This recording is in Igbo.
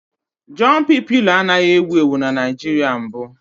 Jọmpị pịlo anaghị ewu ewu na Naịjirịa mbụ